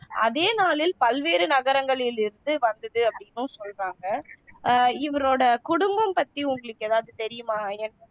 அதே நாளில் பல்வேறு நகரங்களில் இருந்து வந்தது அப்படின்னும் சொல்றாங்க அஹ் இவரோட குடும்பம் பத்தி உங்களுக்கு எதாவது தெரியுமா ஐயன்